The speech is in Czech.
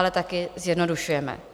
Ale taky zjednodušujeme.